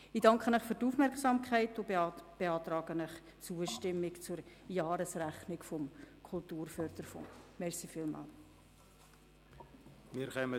Ich beantrage Ihnen, der Jahresrechnung des Kulturförderungsfonds zuzustimmen.